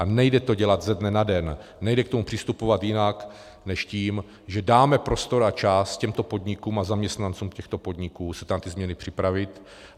A nejde to dělat ze dne na den, nejde k tomu přistupovat jinak než tím, že dáme prostor a čas těmto podnikům a zaměstnancům těchto podniků se na ty změny připravit.